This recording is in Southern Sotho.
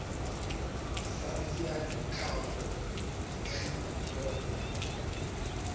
saense ya tlhaho dikri diploma